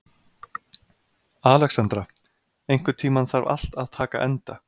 Alexandra, einhvern tímann þarf allt að taka enda.